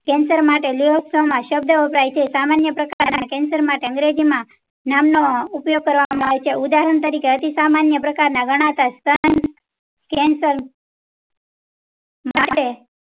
cancer માટે માં સબધ વપરાય છે સામાન્ય પ્રકારે cancer માટે અંગ્રેજી માં namno ઉપયોગ કરવામાં આવે છે. ઉદાહરણ તરીકે. અતિ સામાન્ય પ્રકાર ના cancer માટે